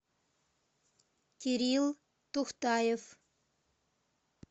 кирилл тухтаев